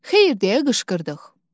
Xeyr deyə qışqırdıq.